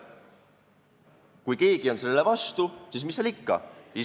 Kui keegi on sellele vastu, siis mis seal ikka.